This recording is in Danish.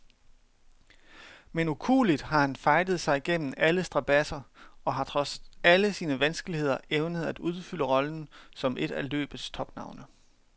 Men ukueligt har han fightet sig gennem alle strabadser og har trods alle sine vanskeligheder evnet at udfylde rollen som et af løbets topnavne.